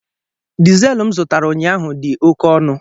Diesel m zụtara ụnyaahụ dị oke ọnụ